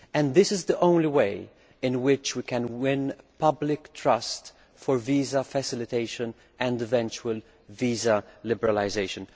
This is the only way in which we can win public trust for visa facilitation and eventual visa liberalisation.